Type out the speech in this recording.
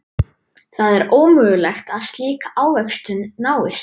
Það er ómögulegt að slík ávöxtun náist.